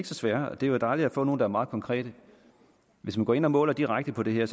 så svære og det er jo dejligt at få nogle der er meget konkrete hvis man går ind og måler direkte på det her